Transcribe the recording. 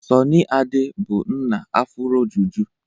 Sọnị Ade bụ nna afuro juju.